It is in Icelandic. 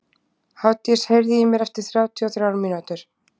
Hafdís, heyrðu í mér eftir þrjátíu og þrjár mínútur.